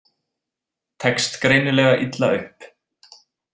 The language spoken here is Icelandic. Tekst greinilega illa upp.